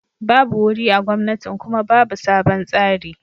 babu wuri a gomnatin Kuma babu sabon tsari.